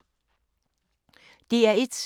DR1